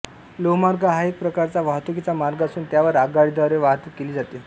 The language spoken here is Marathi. लोहमार्ग हा एक प्रकारचा वाहतुकीचा मार्ग असून त्यावर आगगाडीद्वारे वाहतूक केली जाते